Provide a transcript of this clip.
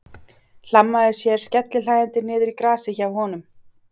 Hlammaði sér skellihlæjandi niður í grasið hjá honum.